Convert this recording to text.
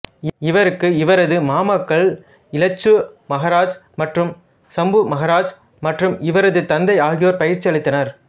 இவருக்கு இவரது மாமாக்கள் இலச்சு மகராஜ் மற்றும் சம்பு மகராஜ் மற்றும் இவரது தந்தை ஆகியோர் பயிற்சியளித்தனர்